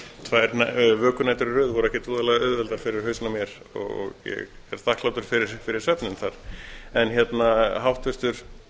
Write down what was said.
tvær vökunætur í röð voru ekkert voðalega auðveldar fyrir hausinn á mér og ég er þakklátur fyrir svefninn háttvirtur